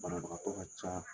Banabaagatɔ ka ca